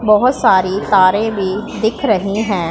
बहोत सारी तारे भी दिख रही हैं।